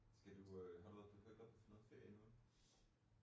Skal du har du været på du har ikke haft noget ferie endnu?